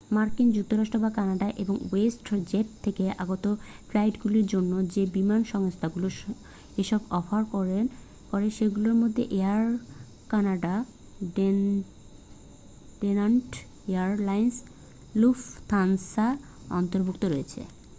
মার্কিন যুক্তরাষ্ট্র বা কানাডা এবং ওয়েস্ট জেট থেকে আগত ফ্লাইটগুলোর জন্য যে বিমান সংস্থাগুলো এসব অফার করে সেগুলোর মধ্যে Air Canada Delta Air Lines Lufthansa অন্তর্ভুক্ত রয়েছে